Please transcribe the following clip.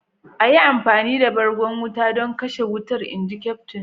"A yi amfani da bargon wuta don kashe wutar!" inji Kyaftin?